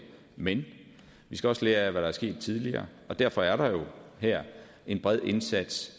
men vi skal også lære af hvad der er sket tidligere og derfor er der jo her en bred indsats